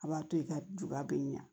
A b'a to i ka juba bɛ ɲa